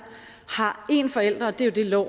har en forælder det er jo